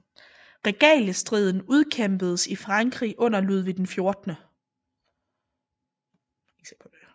Regaliestriden udkæmpedes i Frankrig under Ludvig 14